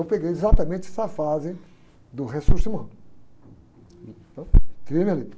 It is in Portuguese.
Eu peguei exatamente essa fase do.